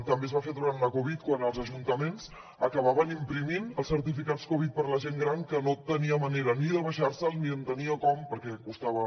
també es va fer durant la covid quan els ajuntaments acabaven imprimint els certificats covid per a la gent gran que no tenia manera ni de baixar se’l ni entenia com perquè costava